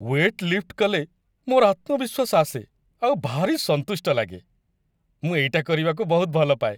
Wait lift କଲେ ମୋର ଆତ୍ମବିଶ୍ଵାସ ଆସେ ଆଉ ଭାରି ସନ୍ତୁଷ୍ଟ ଲାଗେ । ମୁଁ ଏଇଟା କରିବାକୁ ବହୁତ ଭଲପାଏ ।